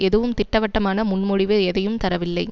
எதுவும் திட்டவட்டமான முன்மொழிவு எதையும் தரவில்லை